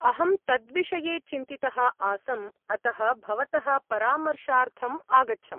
अहं तद्विषये चिन्तितः आसम्, अतः भवतः परामर्शार्थम् आगच्छम्।